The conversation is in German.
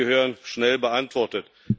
Sie gehören schnell beantwortet.